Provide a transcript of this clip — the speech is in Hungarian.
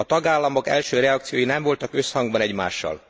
A tagállamok első reakciói nem voltak összhangban egymással.